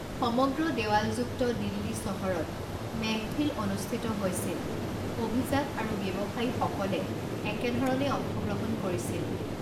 সমগ্ৰ দেৱালযুক্ত দিল্লী চহৰত মেহফিল অনুষ্ঠিত হৈছিল, অভিজাত আৰু ব্যৱসায়ীসকলে একে ধৰণে অংশগ্ৰহণ কৰিছিল।